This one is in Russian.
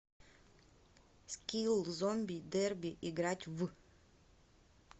скилл зомби дерби играть в